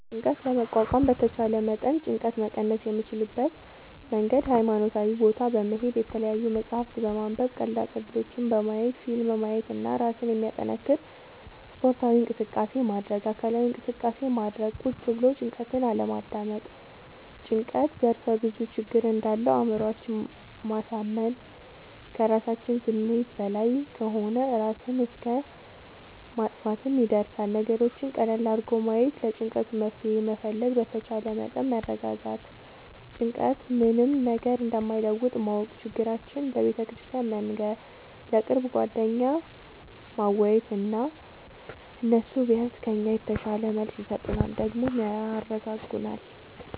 ጭንቀት ለመቋቋም በተቻለ መጠን ጭንቀት መቀነስ የምንችልበት መንገድ ሀይማኖታዊ ቦታ በመሄድ፣ የተለያዪ መፅሀፍት በማንበብ፣ ቀልዳ ቀልዶች በማየት፣ ፊልም ማየት እና እራስን የሚያጠነክር ስፓርታዊ እንቅስቃሴ ማድረግ። አካላዊ እንቅስቃሴ ማድረግ ቁጭ ብሎ ጭንቀትን አለማዳመጥ። ጭንቀት ዘርፍ ብዙ ችግር እንዳለው አእምሮአችን ማሳመን ከራሳችን ስሜት በላይ ከሆነ እራስን እስከ ማጥፍትም ይደርሳል። ነገሮችን ቀለል አድርጎ ማየት ለጭንቀቱ መፍትሄ መፈለግ በተቻለ መጠን መረጋጋት ጭንቀት ምንም ነገር እንደማይለውጥ ማወቅ ችግራችን ለቤተክርስቲያን መንገር፣ ለቅርብ ጓደኛ ማዋየት እና እነሱ ቢያንስ ከኛ የተሻለ መልስ ይሰጡናል ደግሞም ያረጋጉናል።